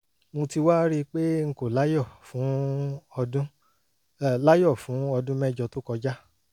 mo ti wá rí i pé n kò láyọ̀ fún ọdún láyọ̀ fún ọdún mẹ́jọ tó kọjá